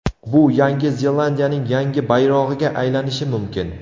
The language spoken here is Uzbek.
Bu Yangi Zelandiyaning yangi bayrog‘iga aylanishi mumkin.